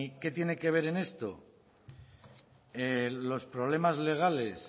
qué tiene que ver en esto los problemas legales